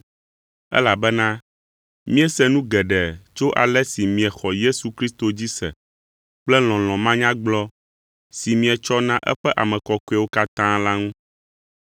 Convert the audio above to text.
elabena míese nu geɖe tso ale si miexɔ Yesu Kristo dzi se kple lɔlɔ̃ manyagblɔ si mietsɔ na eƒe ame kɔkɔewo katã la ŋu.